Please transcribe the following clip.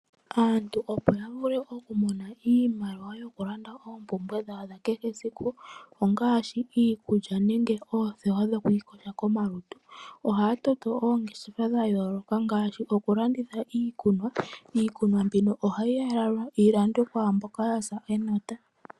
Aantu opo yavule okumona iimaliwa yokulanda oompumbwe dhawo dhakehe esiku ongaashi, iikulya nenge oothewa dhokwiikosha komalutu, ohaya toto oongeshefa dhayooloka ngaashi, okulanditha iikunwa. Iikunwa mbino ohayiya yilandwe kwaamboka yasa enota.